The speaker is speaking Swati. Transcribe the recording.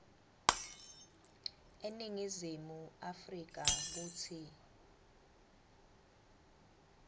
eningizimu afrika kutsi